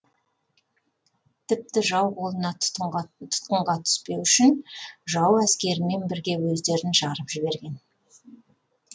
тіпті жау қолына тұтқынға түспеу үшін жау әскерімен бірге өздерін жарып жіберген